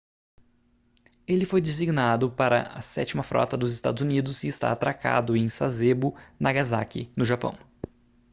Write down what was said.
ele foi designado para a sétima frota dos estados unidos e está atracado em sasebo nagasaki no japão